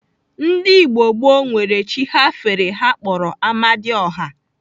Ndigbo gboo nwere chi ha fere ha kpọrọ Amadioha.